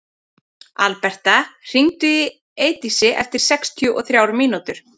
Alberta, hringdu í Eidísi eftir sextíu og þrjár mínútur.